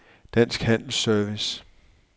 Dansk Handel & Service